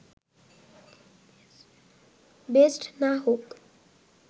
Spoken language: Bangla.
বেস্ট না হোক